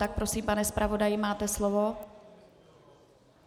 Tak prosím, pane zpravodaji, máte slovo.